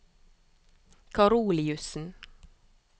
Karoliussen